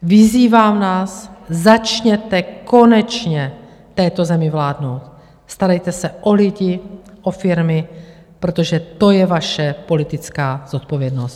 Vyzývám vás, začněte konečně této zemi vládnout, starejte se o lidi, o firmy, protože to je vaše politická zodpovědnost!